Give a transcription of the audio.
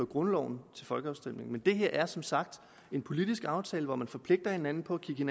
grundloven til folkeafstemning men det her er som sagt en politisk aftale hvor man forpligter hinanden på at kigge